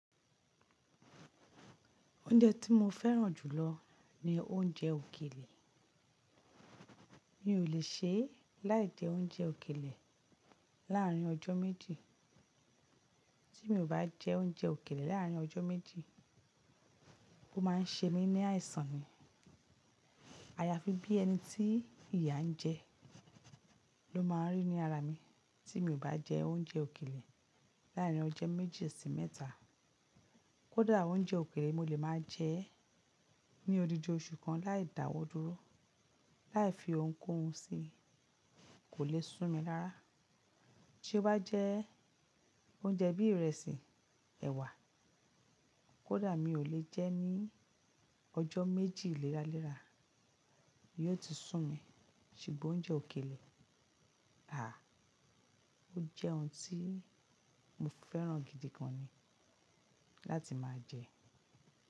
Oúnjẹ tí mo fẹ́ràn jùlọ ni oúnjẹ òkèlè. Mi ò lè ṣe láì jẹ oúnjẹ òkèlè láàrin ọjọ́ méjì. Tí mi ò bá jẹ oúnjẹ òkèlè láàrin ọjọ́ méjì, ó máa ń ṣe mí ní àìsàn ni. Ayafi bí ẹni tí ìyà ń jẹ ló máa ń rí ní ara mi tí mi ò bá jẹ oúnjẹ òkèlè láàrin ọjọ́ méjì sí mẹ́ta. Kódà oúnjẹ òkèlè mo lè máa jẹ ní odidi oṣù kan láì dáwọ́ dúró, láì fi ohunkóhun sí i, kò lè sú mi rara tí ó bá jẹ́ oúnjẹ bí ìrẹsì, ẹ̀wà, kódà mi ò lè jẹ́ ní ọjọ́ méjì léra lè rà yó ti sú mi. Ṣùgbọ́n oúnjẹ òkèlè, àh! Ó jẹ́ ohun tí mo fẹ́ràn gidi gan ni láti máa jẹ.